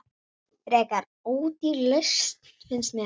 Frekar ódýr lausn, finnst mér.